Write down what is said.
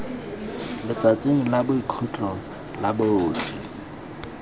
letsatsing la boikhutso la botlhe